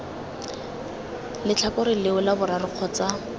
letlhakore leo la boraro kgotsa